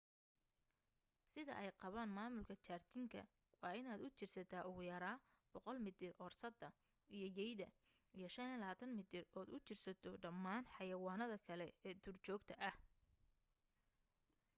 sida ay qabaan maamulka jardiinka waa inaad u jirsataa ugu yaraa 100 mitir oorsada iyo yeyda iyo 25 mitir ood u jirsato dhammaan xayawaanada kale ee duurjoogta ah